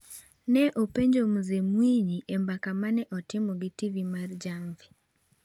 ne openjo Mzee Mwinyi e mbaka ma ne otimo gi TV mar Jamvi.